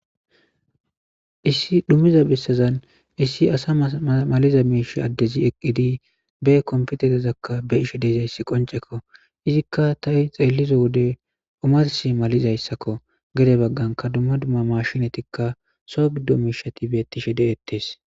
Issi dhumiza bessazani issi assa malasiza assi eqidi bee kompietereza beyishe dizayisi qonichekko izika ta xellida wodde omarissi maliza wodeko gedde bagani duma duma mashinetine soo giddo mishati betishe desiko